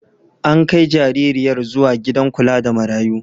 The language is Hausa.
An kai jaririyar zuwa gidan kula da marayu.